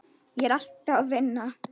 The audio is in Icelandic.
Ég er alltaf að vinna.